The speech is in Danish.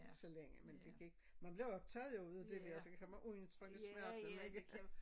Så længe men det gik man blev optaget jo ud af det dér så kan man udtrykke smerten ikke?